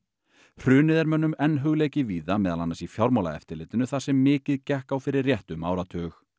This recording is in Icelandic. hrunið er mönnum enn hugleikið víða meðal annars í Fjármálaeftirlitinu þar sem mikið gekk á fyrir réttum áratug